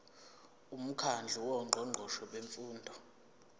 umkhandlu wongqongqoshe bemfundo